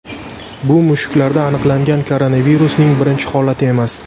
Bu mushuklarda aniqlangan koronavirusning birinchi holati emas.